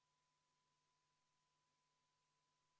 Muudatusettepanek nr 16 puudutab sedasama kaitseväelastelt DNA-proovide võtmist.